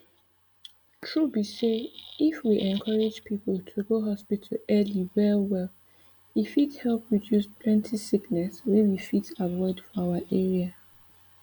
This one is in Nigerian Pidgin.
tru be say if we encourage people to go hospital early wellwell e fit help reduce plenty sickness wey we fit avoid for our area